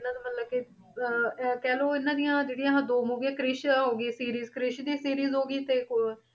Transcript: ਇਹਨਾਂ ਦਾ ਮਤਲਬ ਕਿ ਅਹ ਅਹ ਕਹਿ ਲਓ ਇਹਨਾਂ ਦੀਆਂ ਜਿਹੜੀਆਂ ਆਹ ਦੋ ਮੂਵੀਆਂ ਕ੍ਰਿਸ ਹੋ ਗਈ series ਕ੍ਰਿਸ ਦੀ series ਹੋ ਗਈ ਤੇ ਇੱਕ ਹੋਰ